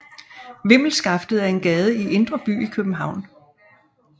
Vimmelskaftet er en gade i Indre By i København